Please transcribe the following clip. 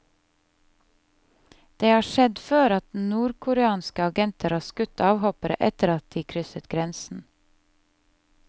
Det har skjedd før at nordkoreanske agenter har skutt avhoppere etter at de krysset grensen.